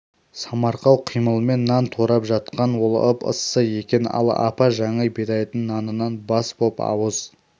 самарқау қимылмен нан турап жатқан ол ып-ыссы екен ал апа жаңа бидайдың нанынан бас боп ауыз